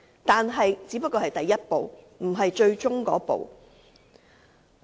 但是，這只是第一步，而不是最終的一步。